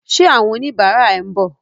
Ṣé àwọn oníbàárà ẹ ń bọ̀?